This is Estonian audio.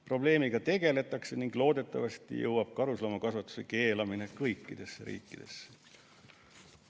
Probleemiga tegeletakse ning loodetavasti jõuab karusloomakasvatuse keelamine kõikidesse riikidesse.